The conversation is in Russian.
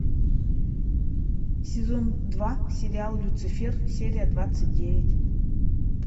сезон два сериал люцифер серия двадцать девять